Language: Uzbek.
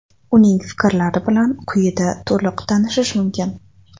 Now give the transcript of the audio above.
Uning fikrlari bilan quyida to‘liq tanishish mumkin.